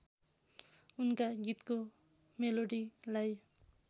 उनका गीतको मेलोडीलाई